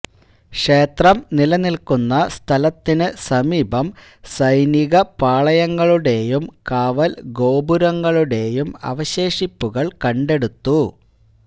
ക്ഷേത്രം നിലനിൽക്കുന്ന സ്ഥലത്തിന് സമീപം സൈനികപ്പാളയങ്ങളുടേയും കാവൽ ഗോപുരങ്ങളുടേയും അവശേഷിപ്പുകൾ കണ്ടെടുത്തു